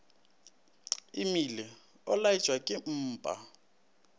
imile o lwatšwa ke mpa